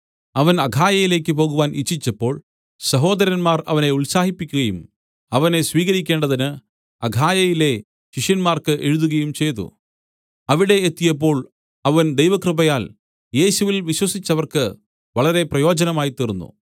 അവൻ അഖായയിലേക്ക് പോകുവാൻ ഇച്ഛിച്ചപ്പോൾ സഹോദരന്മാർ അവനെ ഉത്സാഹിപ്പിക്കയും അവനെ സ്വീകരിക്കേണ്ടതിന് അഖായയിലെ ശിഷ്യന്മാർക്ക് എഴുതുകയും ചെയ്തു അവിടെ എത്തിയപ്പോൾ അവൻ ദൈവകൃപയാൽ യേശുവിൽ വിശ്വസിച്ചവർക്ക് വളരെ പ്രയോജനമായിത്തീർന്നു